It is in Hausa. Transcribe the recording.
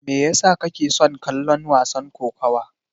Me yasa kake son kallon wasan kokawa?